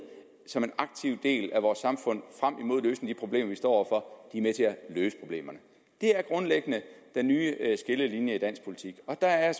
som en aktiv del af vores samfund i de problemer vi står over for er med til at løse problemerne det er grundlæggende den nye skillelinje i dansk politik og der er